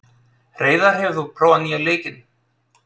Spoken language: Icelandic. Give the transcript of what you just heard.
Hreiðar, hefur þú prófað nýja leikinn?